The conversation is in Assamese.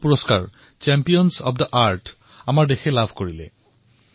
দেশে ৰাষ্ট্ৰসংঘৰ সৰ্বোচ্চ পৰিবেশ পুৰষ্কাৰ চেম্বিয়নছ অব্ দা আৰ্থ বঁটাৰে সন্মানিত হৈছে